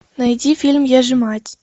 найди фильм я же мать